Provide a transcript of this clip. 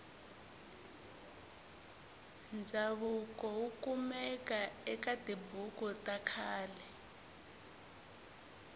ndzavuko wukumeka ekatibhuku takhale